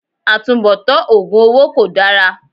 Àtubọ̀tán oògùn owó kol dára